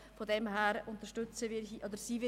«Klein» bedeutet relativ klein;